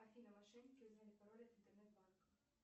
афина мошенники узнали пароль от интернет банка